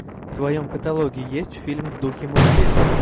в твоем каталоге есть фильм в духе мультфильмы